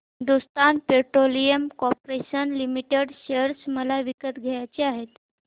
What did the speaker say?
Hindustan petroleum corporation limited share मला विकत घ्यायचे आहेत